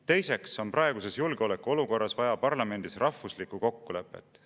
Teiseks on praeguses julgeolekuolukorras vaja parlamendis rahvuslikku kokkulepet.